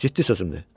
Ciddi sözümdür.